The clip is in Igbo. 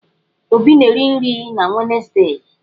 Obi na-eri nri na Wenezdee.